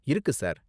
இருக்கு சார்.